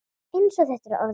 Eins og þetta er orðið.